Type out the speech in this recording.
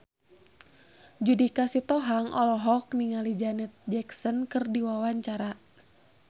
Judika Sitohang olohok ningali Janet Jackson keur diwawancara